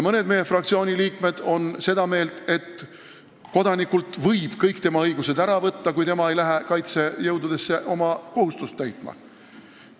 Mõned meie fraktsiooni liikmed on seda meelt, et kodanikult võib kõik tema õigused ära võtta, kui ta ei lähe kaitsejõududesse oma kohustust täitma.